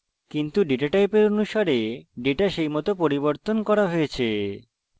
কিন্তু ডেটা টাইপের অনুসারে ডেটা সেইমত পরিবর্তন করা হয়েছে